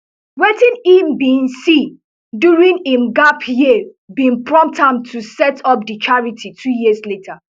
wetin e bin see during im gap year bin prompt am to set up di charity two years later